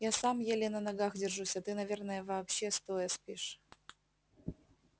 я сам еле на ногах держусь а ты наверное вообще стоя спишь